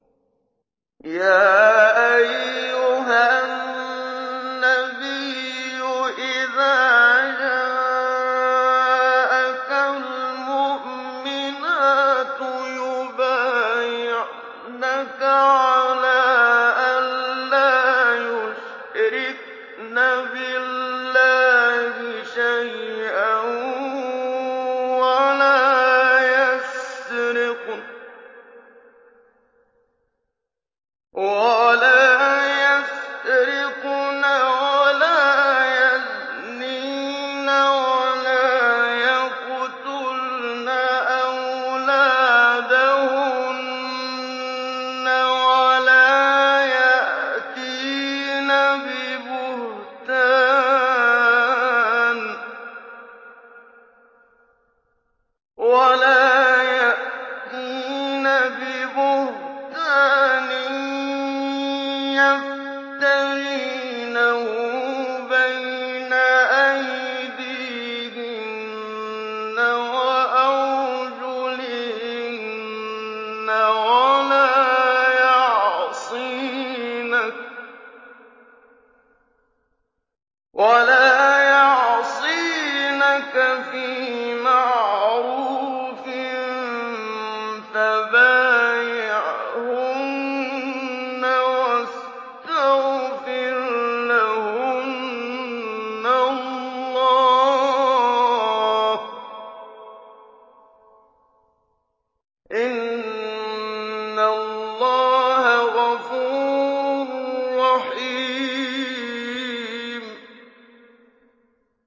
يَا أَيُّهَا النَّبِيُّ إِذَا جَاءَكَ الْمُؤْمِنَاتُ يُبَايِعْنَكَ عَلَىٰ أَن لَّا يُشْرِكْنَ بِاللَّهِ شَيْئًا وَلَا يَسْرِقْنَ وَلَا يَزْنِينَ وَلَا يَقْتُلْنَ أَوْلَادَهُنَّ وَلَا يَأْتِينَ بِبُهْتَانٍ يَفْتَرِينَهُ بَيْنَ أَيْدِيهِنَّ وَأَرْجُلِهِنَّ وَلَا يَعْصِينَكَ فِي مَعْرُوفٍ ۙ فَبَايِعْهُنَّ وَاسْتَغْفِرْ لَهُنَّ اللَّهَ ۖ إِنَّ اللَّهَ غَفُورٌ رَّحِيمٌ